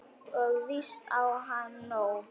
Og víst á hann nóg.